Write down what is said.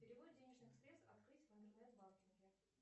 перевод денежных средств открыть в интернет банкинге